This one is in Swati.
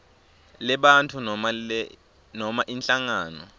lebantfu noma inhlangano